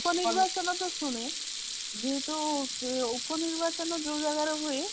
ଉପ ନିର୍ବାଚନ ତ ଶୁଣେ ଯେହେତୁ ଉପ ନିର୍ବାଚନ ଯେଉଁ ଜାଗା ରେ ହୁଏ